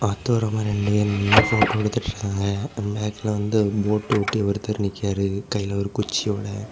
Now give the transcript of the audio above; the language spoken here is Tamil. ஆத்தூரம்மா ரெண்டு பேரு நின்னு போட்டோ எடுத்துட்டு இருக்காங்க. பேக்குலெ வந்து போட்ட ஒட்டி ஒருத்தர் நிக்காரு கையில ஒரு குச்சியோட.